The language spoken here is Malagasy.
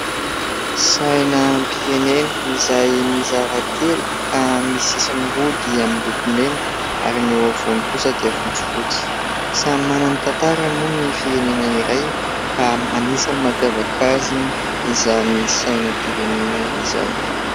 Sainam-pirenena izay mizara telo ka ny sisiny roa dia miloko mena ary ny eo afovoany kosa dia fotsy fotsy. Samy manana ny tantarany moa ny firenena iray ka anisan'ny mampiavaka azy izany sainam-pirenena izany.